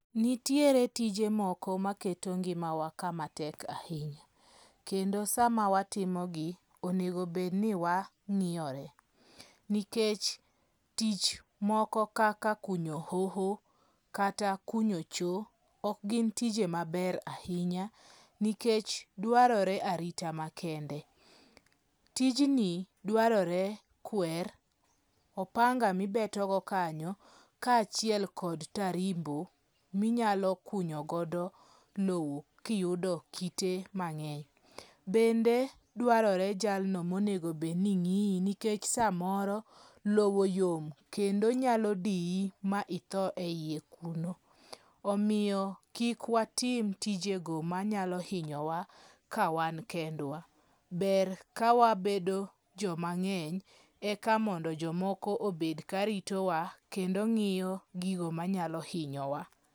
Nitiere tije moko maketo ngimawa kama tek ahinya, kendo sama watimogi onego bedni wa ng'iyore. Nikech tich moko kaka kunyo hoho kata kunyo cho, ok gin tije maber ahinya nikech dwarore arita makende. Tijni dwarore kwer, opanga mibetogo kanya, kaachiel kod tarimbo minyalo kunyo godo lowo kiyudo kite mang'eny. Bende dwarore jalno monegobedni ng'iyi nikech samoro lowo yom kendo nyalo diyi ma itho e iye kuno. Omiyo kik watim tijego ma nyalo hinyowa ka wan kendwa. Ber kawabedo joma ng'eny eka mondo jomoko obed ka ritowa kendo ng'iyo gigo manyalo hinyowa.